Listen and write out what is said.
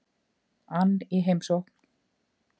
ann í heimsókn.